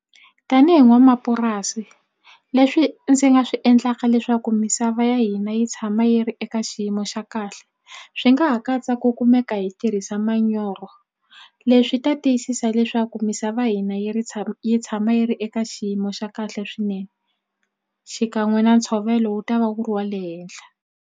Tanihi n'wanamapurasi leswi ndzi nga swi endlaka leswaku misava ya hina yi tshama yi ri eka xiyimo xa kahle swi nga ha katsa ku kumeka hi tirhisa manyoro. Leswi ta tiyisisa leswaku misava ya hina yi ri tshama yi tshama yi ri eka xiyimo xa kahle swinene xikan'we na ntshovelo wu ta va wu ri wa le henhla.